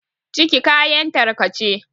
ciki kayan tarkace